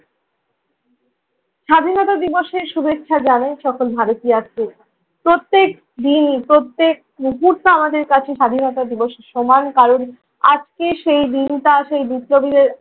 স্বাধীনতা দিবসের শুভেচ্ছা জানাই সকল ভারতীয় প্রত্যেকদিনই প্রত্যেক মুহূর্তে আমাদের কাছে স্বাধীনতা দিবস সমান, কারণ আজকের সেই দিনটা সেই বিপ্লবীদের